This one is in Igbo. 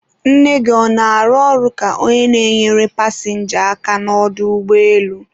nne gị ọ na-arụ ọrụ ka onye na-enyere pasịnja aka n'ọdọ ụgbọelu?